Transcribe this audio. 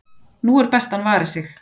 nú er best að hann vari sig,